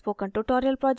spoken tutorial project team: